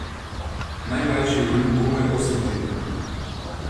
Najmlajši je imel komaj osem tednov.